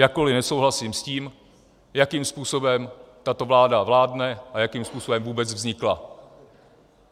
Jakkoliv nesouhlasím s tím, jakým způsobem tato vláda vládne a jakým způsobem vůbec vznikla.